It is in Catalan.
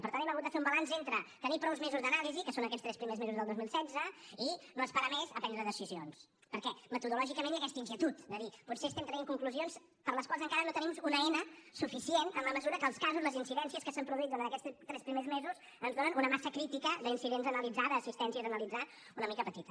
per tant hem hagut de fer un balanç entre tenir prou mesos d’anàlisi que són aquests tres primers mesos del dos mil setze i no esperar més a prendre decisions perquè metodològicament hi ha aquesta inquietud de dir potser estem traient conclusions per a les quals encara no tenim una eina suficient en la mesura que els casos les incidències que s’han produït durant aquests tres primers mesos ens donen una massa crítica d’incidents a analitzar d’assistències a analitzar una mica petita